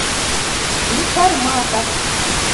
информатор